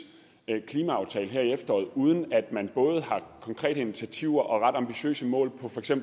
klimaaftale her i efteråret uden at man både har konkrete initiativer og ret ambitiøse mål